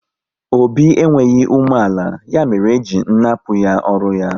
Obi enweghị umeala, ya mere e ji nnapu ya ọrụ ya